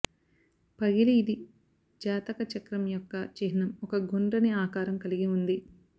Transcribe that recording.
పగిలి ఇది జాతక చక్రం యొక్క చిహ్నం ఒక గుండ్రని ఆకారం కలిగి ఉంది